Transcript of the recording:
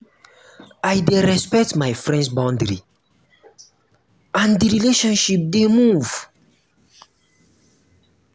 i dey respect my friends boundary and di relationship dey move.